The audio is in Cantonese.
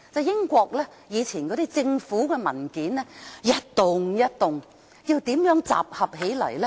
英國政府以往的文件是一疊疊的，要怎樣集合起來呢？